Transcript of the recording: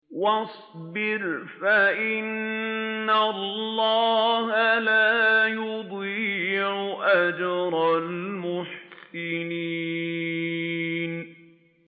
وَاصْبِرْ فَإِنَّ اللَّهَ لَا يُضِيعُ أَجْرَ الْمُحْسِنِينَ